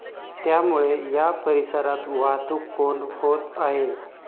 त्यामुळे या परिसरात वाहतूक कोंडी होत आहे.